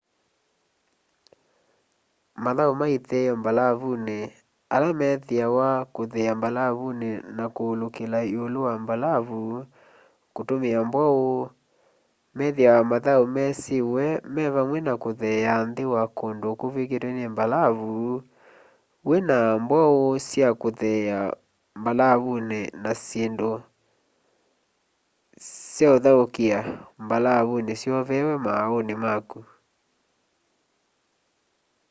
mathau ma itheeo mbalavuni ala methiawa kitheea mbalauni na kuulukila iulu wa mbalavu kutumia mbwau methiawa mathau mesiiwe me vamwe na kutheea nthi wa kundu kuvw'ikitwe ni mbalavu wina mwau sya utheea mbalavuni kana syindu syauthaukia mbalavuni syoveewe mauuni maku